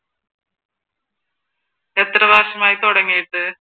എത്ര മാസം ആയി തുടങ്ങിയിട്ട്?